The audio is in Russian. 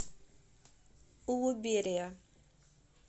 улуберия